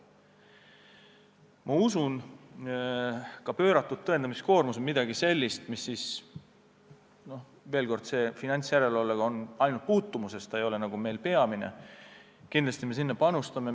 Aga kuigi pööratud tõendamiskoormus on midagi sellist, mis finantsjärelevalvet ainult kergelt puudutab – see ei ole meie peamine valdkond –, me sellesse kindlasti panustame.